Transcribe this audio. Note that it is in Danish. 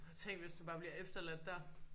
Tænk hvis du bare bliver efterladt der